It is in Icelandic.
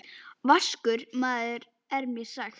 Vaskur maður er mér sagt.